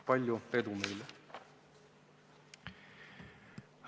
Palju edu meile!